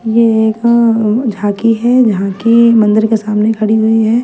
यह एक अ झांकी है झांकी मंदिर के सामने खड़ी हुई है।